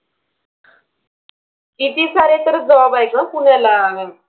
किती सारे तर job आहे ग पुण्याला.